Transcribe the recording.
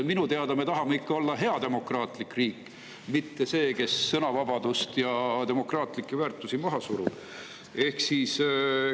Minu teada me tahame ikka olla hea demokraatlik riik, mitte riik, kes sõnavabadust ja demokraatlikke väärtusi maha surub.